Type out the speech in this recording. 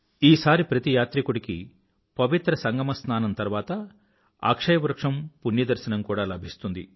ఈసారి ప్రతి యాత్రికుడికీ పవిత్ర సంగమస్నానం తర్వాత అక్షయ వృక్షం పుణ్య దర్శనం కూడా లభిస్తుంది